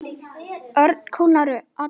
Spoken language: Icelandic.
Örn kólnaði allur upp.